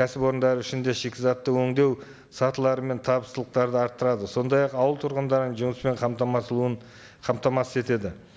кәсіпорындары үшін де шикізатты өндеу сатылары мен табыстылықтарды арттырады сондай ақ ауыл тұрғындарын жұмыспен қамтамасыз етеді